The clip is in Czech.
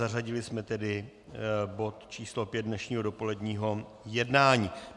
Zařadili jsme tedy bod č. 5 dnešního dopoledního jednání.